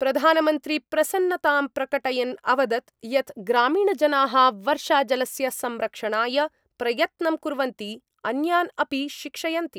प्रधानमन्त्री प्रसन्नतां प्रकटयन् अवदत् यत् ग्रामीणजनाः वर्षाजलस्य संरक्षणाय प्रयत्नं कुर्वन्ति, अन्यान् अपि शिक्षयन्ति।